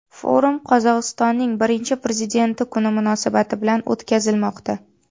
Forum Qozog‘istonning Birinchi prezidenti kuni munosabati bilan o‘tkazilmoqda.